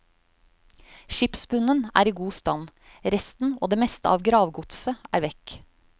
Skipsbunnene er i god stand, resten og det meste av gravgodset er vekk.